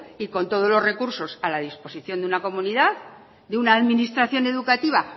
y con todos los recursos a la disposición de una comunidad de una administración educativa